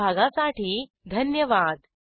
सहभागासाठी धन्यवाद